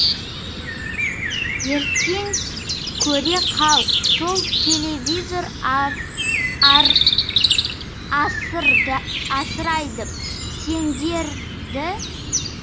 ертең көре қал сол телевизор асырайды сендерді